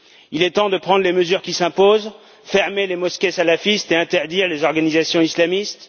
Il est temps de prendre les mesures qui s'imposent fermer les mosquées salafistes et interdire les organisations islamistes